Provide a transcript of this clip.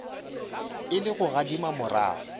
e le go gadima morago